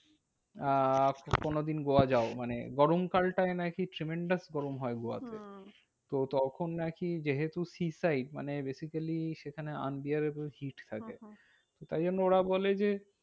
আহ কোনোদিন গোয়া যাও মানে গরমকালটায় নাকি tremendous গরম হয় গোয়াতে। হম তো তখন আরকি যেহেতু মানে basically সেখানে unbearable থাকে। হম হম তাই জন্য ওরা বলে যে,